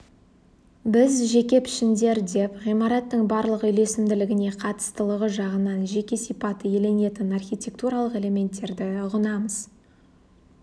біз жеке пішіндер деп ғимараттың барлық үйлесімділігіне қатыстылығы жағынан жеке сипат иеленетін архитертуралық элементтерді ұғынамыз